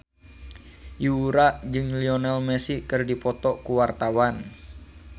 Yura jeung Lionel Messi keur dipoto ku wartawan